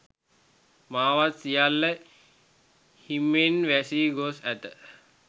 මාවත් සියල්ල හිමෙන් වැසී ගොස් ඇත